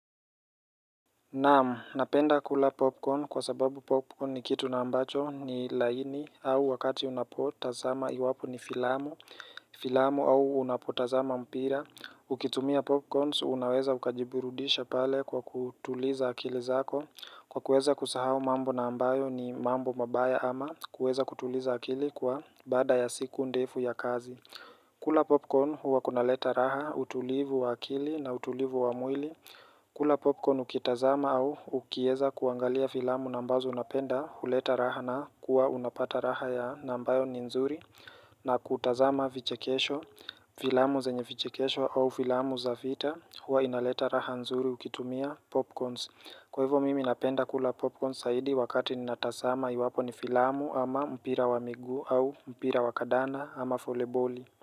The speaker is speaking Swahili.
Namu, napenda kula popcorn kwa sababu popcorn ni kitu na ambacho ni laini au wakati unapotazama iwapo ni filamu, filamu au unapotazama mpira. Ukitumia popcorns, unaweza ukajiburudisha pale kwa kutuliza akili zako. Kwa kueza kusahau mambo na ambayo ni mambo mabaya ama kueza kutuliza akili kwa baada ya siku ndefu ya kazi. Kula popcorn huwa kuna leta raha, utulivu wa akili na utulivu wa mwili. Kula popcorn ukitazama au ukieza kuangalia filamu na ambazo unapenda huleta raha na kuwa unapata raha ya na ambayo ni nzuri na kutazama vichekesho, filamu zenye vichekesho au filamu za vita huwa inaleta raha nzuri ukitumia popcorns. Kwa hivyo mimi napenda kula popcorns saidi wakati ni natasama iwapo ni filamu ama mpira wa miguu au mpira wa kadanda ama voli boli.